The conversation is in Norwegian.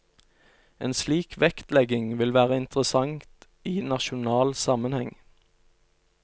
En slik vektlegging vil være interessant i nasjonal sammenheng.